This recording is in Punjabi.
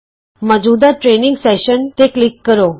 ਮੌਜੂਦਾ ਟਰੇਨਿੰਗ ਸੈਸ਼ਨ ਤੇ ਕਲਿਕ ਕਰੋ